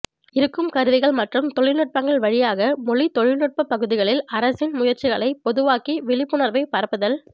இருக்கும் கருவிகள் மற்றும் தொழில்நுட்பங்கள் வழியாக மொழி தொழில்நுட்ப பகுதிகளில் அரசின் முயற்சிகளை பொதுவாக்கி விழிப்புணர்வைப் பரப்புதல்